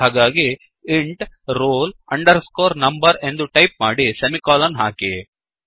ಹಾಗಾಗಿ int roll underscore number ಎಂದು type ಮಾಡಿ ಸೆಮಿಕೋಲನ್ ಹಾಕಿ